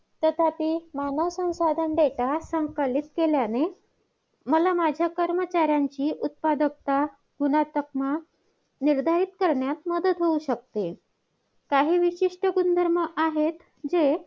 आपण भारत देशात राहतो.भारत हा एक लोकसंख्येच्या माननेने जगातील दोन नंबरचा देश आहे.चीनच्या नंतर भारताचा देश हे आहे नंबर येतो.